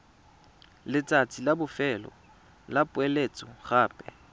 letsatsi la bofelo la poeletsogape